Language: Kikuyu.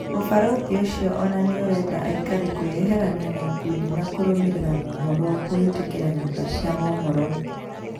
ũbarũthi ũcio ona nĩurenda aikari kwĩyeherania na ikundi na kũrũmĩrĩra mohoro kũhĩtũkĩra nyũmba cia mohoro